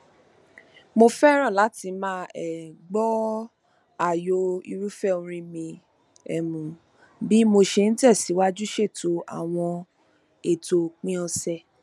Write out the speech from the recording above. mo fẹràn láti máa um gbọ ààyò irúfẹ orin mi um bí mo ṣe n tẹsìwájú ṣètò àwọn ètò òpin ọsẹ